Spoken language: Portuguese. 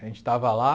A gente estava lá.